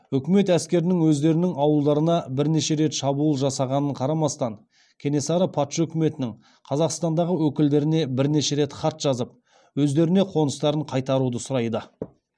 үкімет әскерінің өздерінің ауылдарына бірнеше рет шабуыл жасағанына қарамастан кенесары патша үкіметінің қазақстаңдағы өкілдеріне бірнеше рет хат жазып өздеріне қоныстарын қайтаруды сұрайды